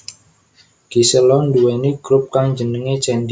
Gisela nduwèni grup kang jenengé Candy